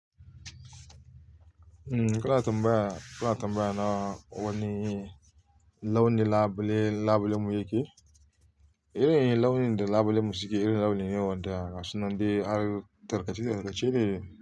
Umm, kuna tambaya, ka la tambaya na wani launin labule, labule mu yake? Ire iren launin da labulenmu suke, iren launin ne wanda gasun nan dai har da lace-like.